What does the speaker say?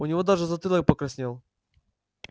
у него даже затылок покраснел